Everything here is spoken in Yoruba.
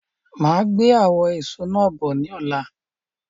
I'll come with those fruits tomorrow